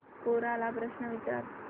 कोरा ला प्रश्न विचार